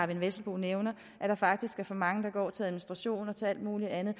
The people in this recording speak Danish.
vesselbo nævner at der faktisk er for mange penge der går til administration og til alt muligt andet